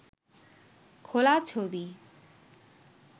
খোলা ছবি